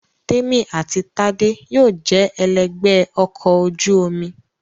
Témì àti Tádé yóò jẹ ẹlẹ́gbẹ̀ẹ́ ọkọ̀ ojú omi